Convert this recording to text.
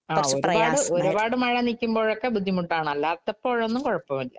ഒരു പാട് മഴ നിക്കുമ്പോഴൊക്കെ ബുദ്ധിമുട്ടാണ്. അല്ലാത്തപ്പോള്‍ ഒന്നും കുഴപ്പമില്ല.